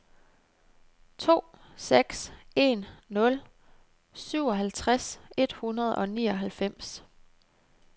to seks en nul syvoghalvtreds et hundrede og nioghalvfems